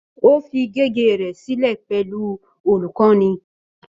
Ó fi gègé rẹ̀ sílẹ̀ pẹ̀lú olùkọ́ni